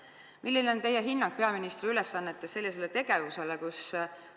Milline on teie hinnang – te olete peaministri ülesannetes – sellisele tegevusele?